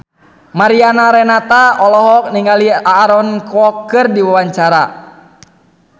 Mariana Renata olohok ningali Aaron Kwok keur diwawancara